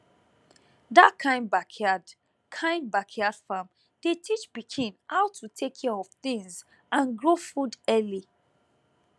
that kind backyard kind backyard farm dey teach pikin how to take care of things and grow food early